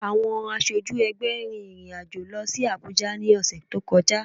Àwọn aṣojú ẹgbẹ́ rin ìrìn àjò lọ sí Abùjá ní ọ̀sẹ̀ tó kọjá